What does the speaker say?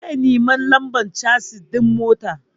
Zai nemi lambar casis ɗin motar.